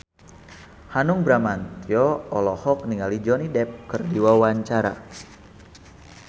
Hanung Bramantyo olohok ningali Johnny Depp keur diwawancara